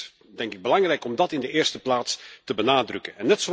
Het is, denk ik, belangrijk om dat in de eerste plaats te benadrukken.